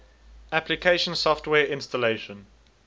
application software installation